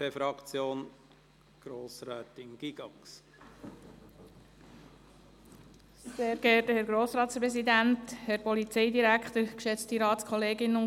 Als Motion würden wir ihn, wie vom Regierungsrat vorgeschlagen, ablehnen. ).